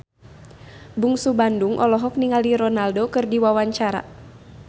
Bungsu Bandung olohok ningali Ronaldo keur diwawancara